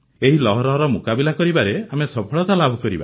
ଏହି ଲହରର ମୁକାବିଲା କରିବାରେ ଆମେ ସଫଳତା ଲାଭ କରିବା